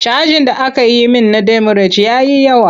Cajin da aka yi min na demurej ya yi yawa.